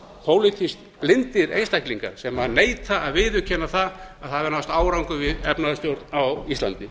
pólitískt blindir einstaklingar sem neita að viðurkenna það að það hefur náðst árangur í efnahagsstjórn á íslandi